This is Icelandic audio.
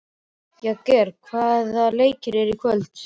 Jagger, hvaða leikir eru í kvöld?